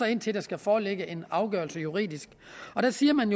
indtil der skal foreligge en afgørelse juridisk og der siger man